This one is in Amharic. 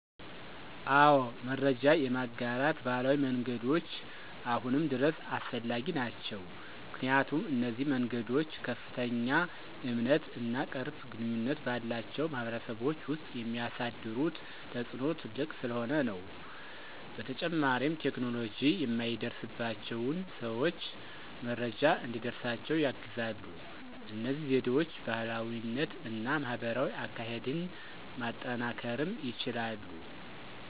አወ መረጃ የማጋራት ባህላዊ መንገዶች አሁንም ድረስ አስፈላጊ ናቸዉ። ምክንያቱም፣ እነዚህ መንገዶች ከፍተኛ እምነት እና ቅርብ ግንኙነት ባላቸው ማህበረሰቦች ውስጥ የሚያሳድሩት ተፅእኖ ትልቅ ስለሆነ ነው። በተጨማሪም ቴክኖሎጂ የማይደርስባቸውን ሰዎች መረጃ እንዲደርሳቸው ያግዛሉ። እነዚህ ዘዴዎች ባህላዊነት እና ማህበራዊ አካሄድን ማጠናከርም ይችላሉ።